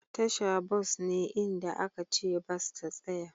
Tasha bas ne inda aka ce bas ta tsaya.